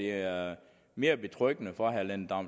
er mere betryggende for herre lennart